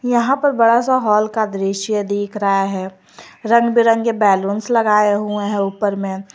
यहां पर बड़ा सा हॉल का दृश्य दिख रहा है रंगबिरंगे बैलूंस लगाए हुए हैं ऊपर में।